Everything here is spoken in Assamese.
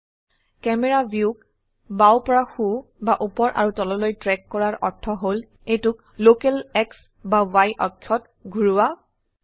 ক্যামেৰা ভিউক বাও পৰা সো বা উপৰ আৰু তললৈ ট্ৰেক কৰাৰ অৰ্থ হল এইটোক লোকেল X বা Y অক্ষত ঘোৰোৱা